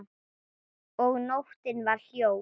Og nóttin var hljóð.